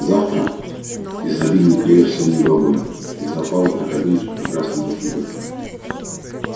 завтра изобильно клевер сено и бобы и запасы так обильны что прекрасней нет судьбы